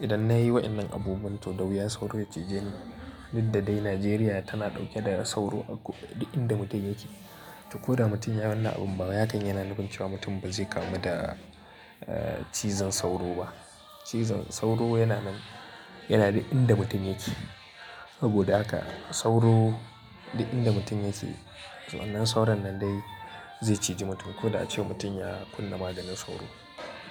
Idan na yi wa'innan abubuwan to, dawuya sauro ya cije ni. Diddade Najeriya tana ɗauke da sauro a ko duk inda mutum yake. To ko da mutum ya wani abin bawai hakan yana nufin cewa mutum ba zai kamu da, eh, cizon sauro ba. Cizon sauro yana nan, yana duk inda mutum yake. Saboda haka sauro duk inda mutum yake. Wannan sauron nan dai zai ciji mutum ko da acewa mutum ya kunna maganin sauro.